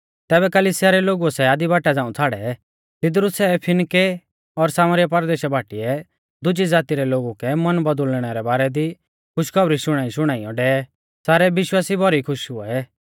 तैबै कलिसिया रै लोगुऐ सै आधी बाटा झ़ांऊ छ़ाड़ै तिदरु सै फिनके और सामरीया परदेशा बाटीऐ दुजी ज़ाती रै लोगु कै मन बौदुल़णै रै बारै दी खुश खौबरी शुणाईशुणाइयौ डेवै सारै विश्वासी भौरी खुश हुऐ